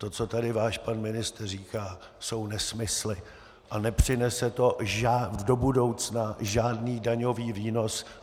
To, co tady váš pan ministr říká, jsou nesmysly a nepřinese to do budoucna žádný daňový výnos.